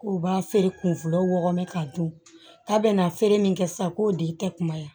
K'u b'a feere kun fɔlɔ wɔɔrɔ k'a dun k'a bɛnna feere min kɛ sisan k'o de kɛ kuma ye